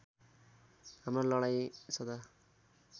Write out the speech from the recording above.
हाम्रो लडाईँँ सदा